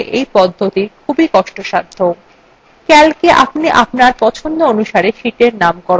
calcএ আপনি আপনার পছন্দ অনুসারে sheetsএর নাম পরিবর্তন করতে পারেন